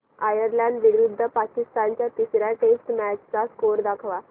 Ireland विरुद्ध पाकिस्तान च्या तिसर्या टेस्ट मॅच चा स्कोअर दाखवा